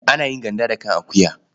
Ana yin ganda da kan akuwa.